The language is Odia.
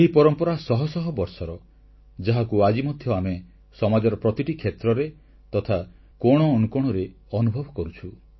ଏହି ପରମ୍ପରା ଶହ ଶହ ବର୍ଷର ଯାହାକୁ ଆଜି ମଧ୍ୟ ଆମେ ସମାଜର ପ୍ରତିଟି କ୍ଷେତ୍ରରେ ତଥା କୋଣଅନୁକୋଣରେ ଅନୁଭବ କରୁଛୁ